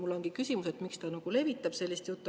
Mul ongi küsimus, miks ta levitab sellist juttu.